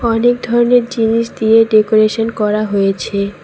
অনেক ধরনের জিনিস দিয়ে ডেকোরেশন করা হয়েছে।